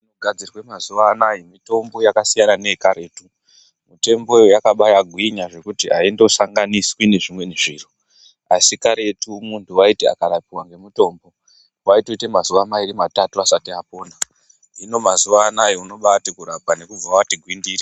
Gadzirwe mazuwanaa mitombo yakasiyana neye karetu mitemboyo yakabaya gwinya kuti aindosanganiswi nezvimweni zviro Asi karetu muntu waiti akarapiwa nemitombo waitoite mazuwa mairi matatu asati apona hino mazuwa anaa inobati kurapa nekubva wati gwindiri.